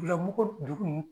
Bilamɔgɔ dugu